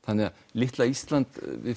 litla Ísland